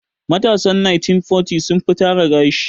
Matasan 1940s sun fi tara gashi.